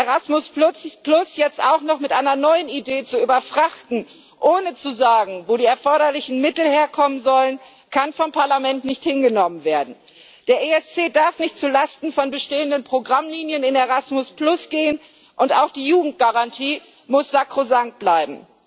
Erasmus jetzt auch noch mit einer neuen Idee zu überfrachten, ohne zu sagen, wo die erforderlichen Mittel herkommen sollen, kann vom Parlament nicht hingenommen werden. Der ESC darf nicht zulasten von bestehenden Programmlinien in Erasmus gehen, und auch die Jugendgarantie muss sakrosankt bleiben.